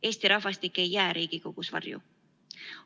Eesti rahvastik ei jää Riigikogus varju.